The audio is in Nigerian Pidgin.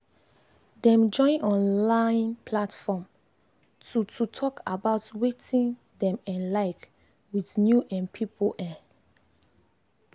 dem join online platform to to talk about wetin dem um like with new um people. um